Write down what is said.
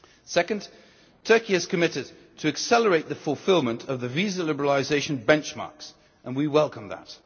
Secondly, Turkey has committed to accelerating the fulfilment of the visa liberalisation benchmarks, and we welcome